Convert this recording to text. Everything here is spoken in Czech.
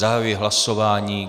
Zahajuji hlasování.